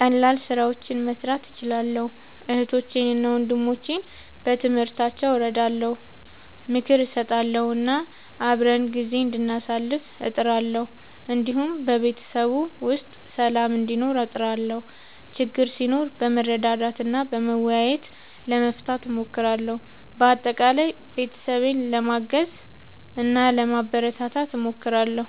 ቀላል ስራዎችን መስራት እችላለሁ። እህቶቼንና ወንድሞቼን በትምህርታቸው እረዳለሁ፣ ምክር እሰጣለሁ እና አብረን ጊዜ እንዳሳልፍ እጥራለሁ። እንዲሁም በቤተሰብ ውስጥ ሰላም እንዲኖር እጥራለሁ፣ ችግር ሲኖር በመረዳዳት እና በመወያየት ለመፍታት እሞክራለሁ። በአጠቃላይ ቤተሰቤን ለማገዝ እና ለማበረታታት እሞክራለሁ።